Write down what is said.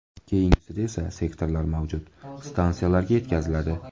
Keyingisida esa, sektorlar mavjud stansiyalarga yetkaziladi.